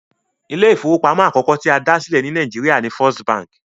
Ilé ìfowópamọ́ àkọ́kọ́ tí a dá sílẹ̀ ní Nàìjíríà ni First Bank